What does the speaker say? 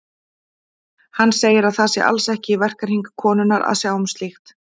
Hann segir að það sé alls ekki í verkahring konunnar að sjá um slíkt.